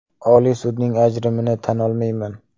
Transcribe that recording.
Oliy sudning ajrimini tan olmayman.